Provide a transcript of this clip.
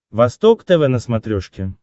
восток тв на смотрешке